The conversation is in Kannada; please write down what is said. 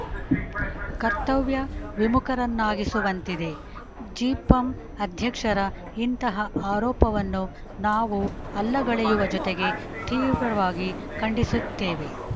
ಕರ್ತವ್ಯ ವಿಮುಖರನ್ನಾಗಿಸುವಂತಿದೆ ಜಿಪಂ ಅಧ್ಯಕ್ಷರ ಇಂತಹ ಆರೋಪವನ್ನು ನಾವು ಅಲ್ಲಗೆಳೆಯುವ ಜೊತೆಗೆ ತೀವ್ರವಾಗಿ ಖಂಡಿಸುತ್ತೇವೆ